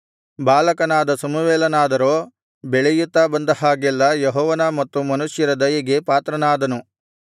ಬಾಲಕನಾದ ಸಮುವೇಲನಾದರೋ ಬೆಳೆಯುತ್ತಾ ಬಂದ ಹಾಗೆಲ್ಲಾ ಯೆಹೋವನ ಮತ್ತು ಮನುಷ್ಯರ ದಯೆಗೆ ಪಾತ್ರನಾದನು